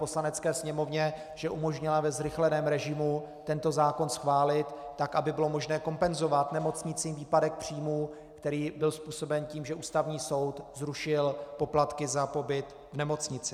Poslanecké sněmovně, že umožnila ve zrychleném režimu tento zákon schválit tak, aby bylo možné kompenzovat nemocnicím výpadek příjmů, který byl způsoben tím, že Ústavní soud zrušil poplatky za pobyt v nemocnici.